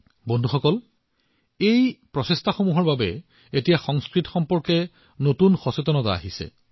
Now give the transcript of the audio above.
বন্ধুসকল সাম্প্ৰতিক সময়ত সংঘটিত হোৱা প্ৰচেষ্টাই সংস্কৃতৰ বিষয়ে এক নতুন সজাগতা সৃষ্টি কৰিছে